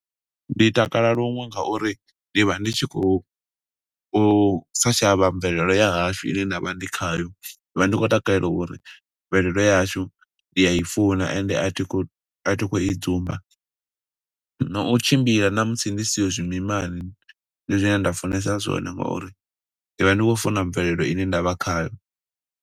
Ndi takala luṅwe ngauri, ndi vha ndi tshi khou u sa shavha mvelele ya hashu ine nda vha ndi khayo. Ndi vha ndi khou takalela uri, mvelelo ya hashu ndi ya i funa ende a thi khou a thi khou i dzumba. No u tshimbila na musi ndi siho zwimimani, ndi zwine nda funesa zwone nga uri ndi vha ndi khou funa mvelelo ine ndavha khayo.